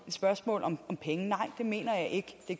spørgsmål om penge nej det mener jeg ikke det